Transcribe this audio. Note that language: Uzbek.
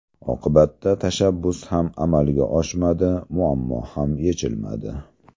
Oqibatda tashabbus ham amalga oshmadi, muammo ham yechilmadi.